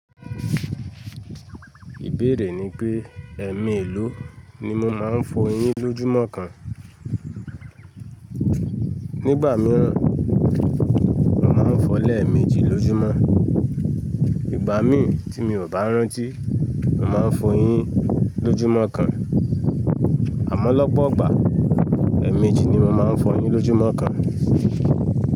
Ìbéèrè ni pé ẹ̀ẹ̀mèlò ni mo máa ń fọyín lójúmọ́ kan? Nígbà mìíràn, mo màá n fọ o lẹ̀eméjì lójúmọ́. Ìgbà mií tí mi ò bá rántí, mo màá n fọyín lójúmọ́ kan. Àmọ́ lọ́pọ̀ ìgbà, ẹ̀ẹ̀meji ni mo màá ń fọyín lójúmọ́ kan.